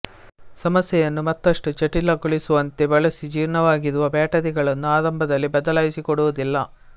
ಸಮಸ್ಯೆಯನ್ನು ಮತ್ತಷ್ಟು ಜಟಿಲಗೊಳಿಸುವಂತೆ ಬಳಸಿ ಜೀರ್ಣವಾಗಿರುವ ಬ್ಯಾಟರಿಗಳನ್ನು ಆರಂಭದಲ್ಲಿ ಬದಲಾಯಿಸಿ ಕೊಡುವುದಿಲ್ಲ